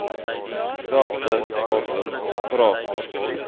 dieselfde asem vra